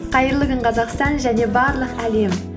қайырлы күн қазақстан және барлық әлем